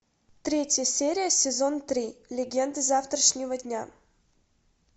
третья серия сезон три легенды завтрашнего дня